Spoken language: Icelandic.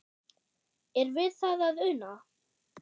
Er við það að una?